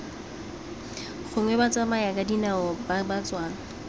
gongwe batsamayakadinao ba ba tswang